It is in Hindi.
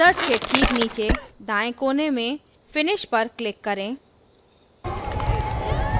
wizards के ठीक नीचे दाएँ कोने में पर finish पर click करें